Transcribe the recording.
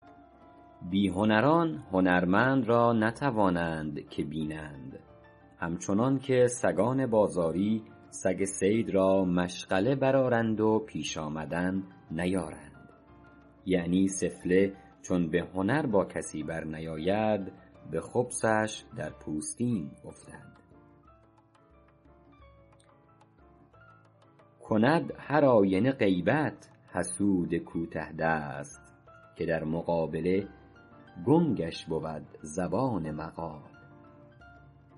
بی هنران هنرمند را نتوانند که بینند همچنان که سگان بازاری سگ صید را مشغله برآرند و پیش آمدن نیارند یعنی سفله چون به هنر با کسی برنیاید به خبثش در پوستین افتد کند هر آینه غیبت حسود کوته دست که در مقابله گنگش بود زبان مقال